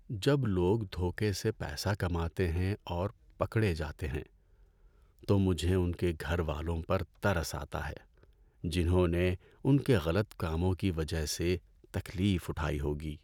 جب لوگ دھوکے سے پیسہ کماتے ہیں اور پکڑے جاتے ہیں، تو مجھے ان کے گھر والوں پر ترس آتا ہے جنہوں نے ان کے غلط کاموں کی وجہ سے تکلیف اٹھائی ہوگی۔